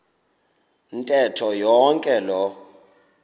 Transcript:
ntetho yonke loo